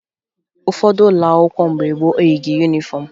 Ụfọdụ ụlọ akwụkwọ mgbe gboo eyighi yunifọmụ